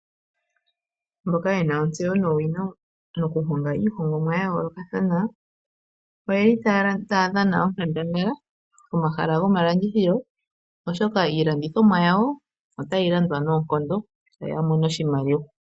Mboka yena ontseyo nuunongo moku honga iihongomwa ya yoolokathana oyeli taya dhana onkandangala momahala gomalandithilo oshoka iilongithomwa yawo otayi landwa noonkondo yoya mone oshimaliwa.